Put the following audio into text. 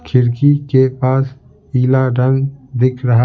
खिड़की के पास पीला रंग दिख रहा--